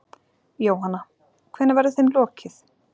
Jóhanna: Hvenær verður þeim lokið?